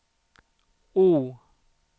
O